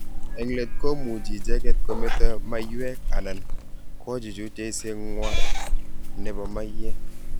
Eng' let komuchi icheget kometo maiyek anan kochuchuch eiset nywa nebo maiyek